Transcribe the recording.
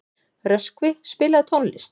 Röskvi, spilaðu tónlist.